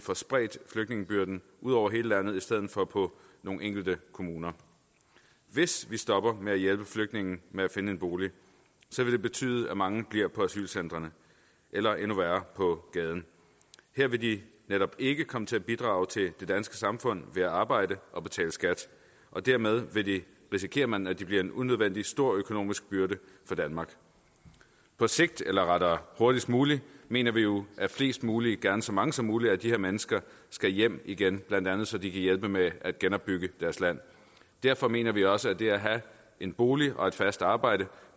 får spredt flygtningebyrden ud over hele landet i stedet for på nogle enkelte kommuner hvis vi stopper med at hjælpe flygtninge med at finde en bolig vil det betyde at mange bliver på asylcentrene eller endnu værre på gaden her vil de netop ikke komme til at bidrage til det danske samfund ved at arbejde og betale skat og dermed risikerer man at de bliver en unødvendig stor økonomisk byrde for danmark på sigt eller rettere hurtigst muligt mener vi jo at flest muligt gerne så mange som muligt af de her mennesker skal hjem igen blandt andet så de kan hjælpe med at genopbygge deres land derfor mener vi også at det at have en bolig og et fast arbejde